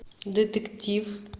детектив